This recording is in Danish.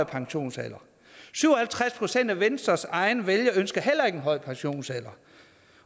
pensionsalder syv og halvtreds procent af venstres egne vælgere ønsker heller ikke en højere pensionsalder